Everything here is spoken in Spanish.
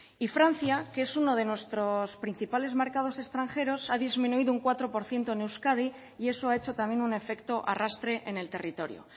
y francia que es uno de nuestros principales mercados extranjeros ha disminuido un cuatro por ciento en euskadi y eso ha hecho también un efecto arrastre en el territorio